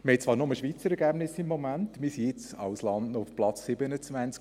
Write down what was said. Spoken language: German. Wir haben zwar im Moment nur die Schweizer Ergebnisse, und wir sind als Land auf Platz 27.